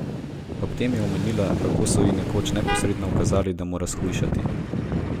Ob tem je omenila, kako so ji nekoč neposredno ukazali, da mora shujšati.